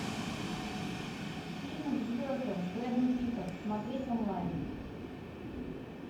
фильм к звездам с брэдом питтом смотреть онлайн